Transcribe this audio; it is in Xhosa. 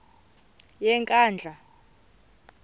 yenkandla